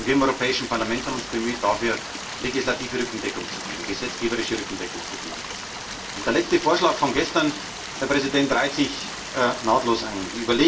Und wir im Europäischen Parlament haben uns bemüht, dafür legislative Rückendeckung zu geben, gesetzgeberische Rückendeckung zu geben. Der letzte Vorschlag von gestern, Herr Präsident, reiht sich nahtlos ein.